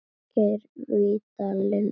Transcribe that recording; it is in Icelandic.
Geir Vídalín biskup hinn góði.